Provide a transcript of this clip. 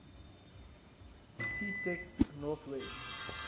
ctext north west